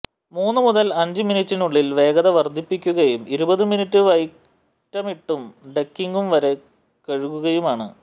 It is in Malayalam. മൂന്നു മുതൽ അഞ്ച് മിനിട്ടിനുള്ളിൽ വേഗത വർദ്ധിപ്പിക്കുകയും ഇരുപത് മിനുട്ട് വൈറ്റമിട്ടും ഡൈക്കിങും വരെ കഴുകുകയുമാണ്